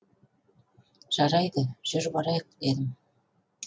жарайды жүр барайық дедім